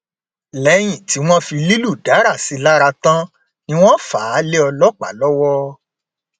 lẹyìn tí wọn fi lílù dárà sí i lára tán ni wọn fà á lé ọlọpàá lọwọ